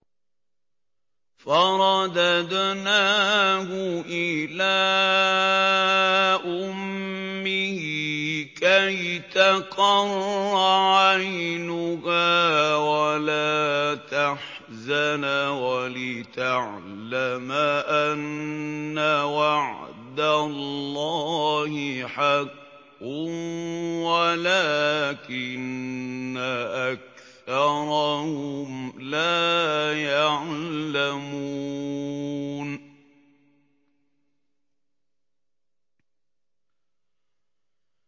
فَرَدَدْنَاهُ إِلَىٰ أُمِّهِ كَيْ تَقَرَّ عَيْنُهَا وَلَا تَحْزَنَ وَلِتَعْلَمَ أَنَّ وَعْدَ اللَّهِ حَقٌّ وَلَٰكِنَّ أَكْثَرَهُمْ لَا يَعْلَمُونَ